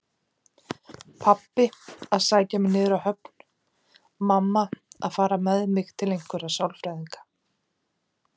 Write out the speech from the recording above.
Pabbi að sækja mig niður á höfn, mamma að fara með mig til einhverra sálfræðinga.